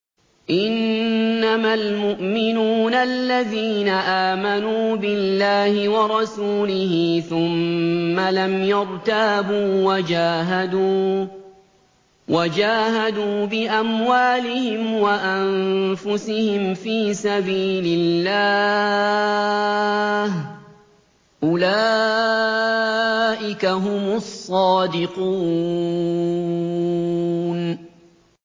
إِنَّمَا الْمُؤْمِنُونَ الَّذِينَ آمَنُوا بِاللَّهِ وَرَسُولِهِ ثُمَّ لَمْ يَرْتَابُوا وَجَاهَدُوا بِأَمْوَالِهِمْ وَأَنفُسِهِمْ فِي سَبِيلِ اللَّهِ ۚ أُولَٰئِكَ هُمُ الصَّادِقُونَ